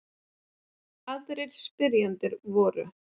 Aðrir spyrjendur voru: